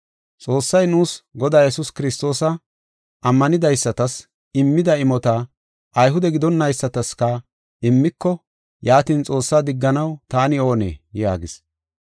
Xoossay nuus Godaa Yesuus Kiristoosa ammanidaysatas immida imota Ayhude gidonaysataska immiko, yaatin Xoossaa digganaw taani oonee?” yaagis.